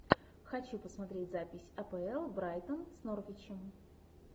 хочу посмотреть запись апл брайтон с норвичем